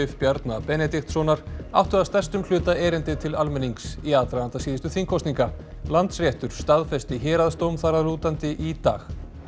Bjarna Benediktssonar áttu að stærstum hluta erindi til almennings í aðdraganda síðustu þingkosninga Landsréttur staðfesti héraðsdóm þar að lútandi í dag